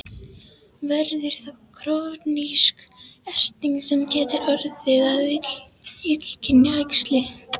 Verður þá krónísk erting sem getur orðið að illkynja æxli.